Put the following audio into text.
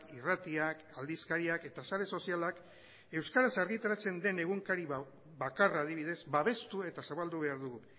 irratiak aldizkariak eta sare sozialak euskaraz argitaratzen den egunkari bakarra adibidez babestu eta zabaldu behar dugu